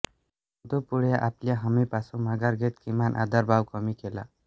परंतु पुढे आपल्या हमीपासून माघार घेत किमान आधारभाव कमी केला